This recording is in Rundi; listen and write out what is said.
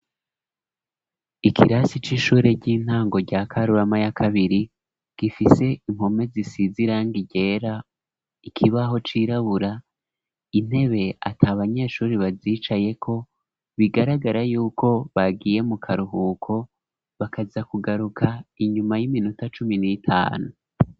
Ikirasi c'ishure ry'intango rya Karurama y'akabiri gifise impome zisize irangi ryera ikibaho cirabura intebe ati abanyeshuri bazicaye ko bigaragara yuko bagiye mu karuhuko bakaza kugaruka inyuma y'iminota cumi n'itanu.